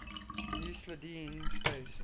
euclidean space